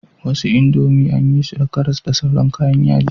Wasu indomie anyi su da karas da sauran kayan yaji